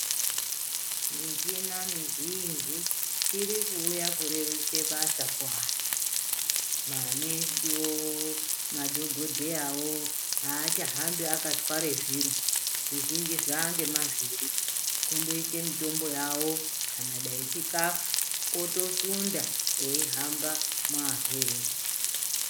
Michina mizhinji iri kuuya kurerutsa basa kuantu. Manesivo madhogodheyavo hachahambi akatware zviro zvizhinji zvangemavhiri. Kundoise mitombo yavo kana dai chikafu otosunda eihamba muarwere.